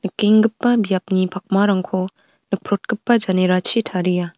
nikenggipa biapni pakmarangko nikprotgipa janerachi taria.